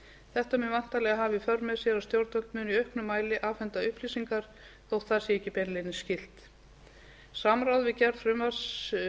þetta mun væntanlega hafa í för með sér að stjórnvöld munu í auknum mæli afhenda upplýsingar þótt það sé ekki beinlínis skylt samráði við gerð